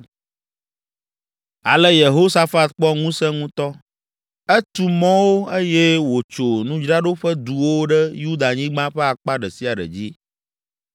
Ale Yehosafat kpɔ ŋusẽ ŋutɔ; etu mɔwo eye wòtso nudzraɖoƒe duwo ɖe Yudanyigba ƒe akpa ɖe sia ɖe dzi.